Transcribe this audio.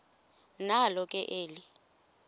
nalo ke eli